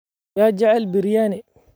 Yaa jecel biryani?